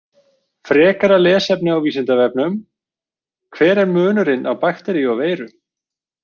Frekara lesefni á Vísindavefnum Hver er munurinn á bakteríu og veiru?